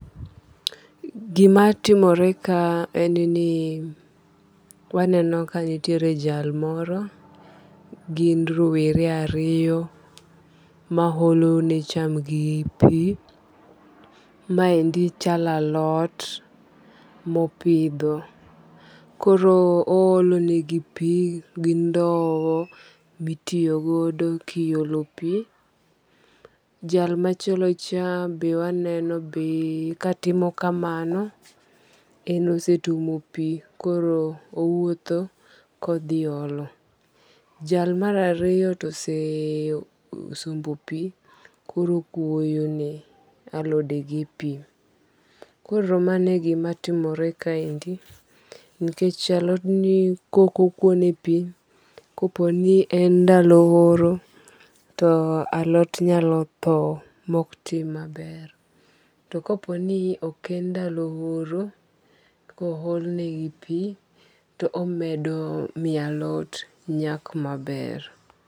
Gima timore ka en ni waneno ka nitiere jal moro gin rowere ariyo ma olo ne cham gi pi. Maendi chalo alot mopidho. Koro o olo negi pi gi ndow mitiyogodo kiolo pi. Jal machielo cha be waneno ka timo kamano. En osetuomo pi koro owuotho kodhi olo. Jal mar ariyo to ose sombo pi koro okuoyo ne alode gi pi. Koro mano e gimatimore kaendi. Nikech alot ni kok okwo ne pi, kopo ni en ndalo oro to alot nyalo tho mok tim maber. To kopo ni ok en ndalo oro, ko ol negi pi to omedo miyo alot nyak maber.